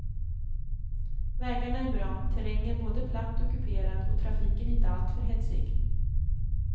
Vägarna är bra, terrängen både platt och kuperad och trafiken inte alltför hetsig.